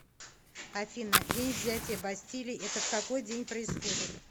афина день взятия бастилии это в какой день происходит